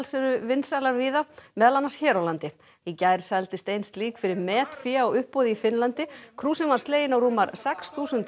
eru vinsælar víða meðal annars hér á landi í gær seldist ein slík fyrir metfé á uppboði í Finnlandi krúsin var slegin á rúmar sex þúsund